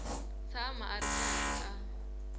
tshama a ri karhi a